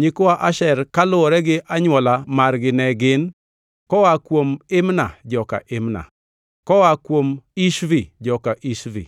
Nyikwa Asher kaluwore gi anywola margi ne gin: koa kuom Imna, joka Imna; koa kuom Ishvi, joka Ishvi;